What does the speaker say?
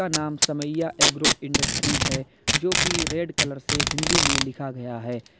नाम Samaiya agro industries है जो की रेड कलर से हिंदी में लिखा गया है।